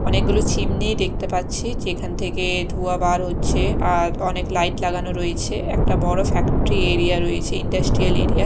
অনেকগুলো চিমনি দেখতে পাচ্ছি যেখান থেকে ধুঁয়া বার হচ্ছে আর অনেক লাইট লাগানো রয়েছে একটা বড়ো ফ্যাক্টরি এরিয়া রয়েছে ইন্ডাস্ট্রিয়াল এরিয়া ।